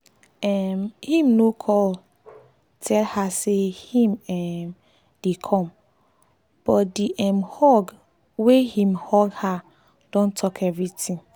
um him no call tell her say him um dey come but the um hug wey him hug her don talk everything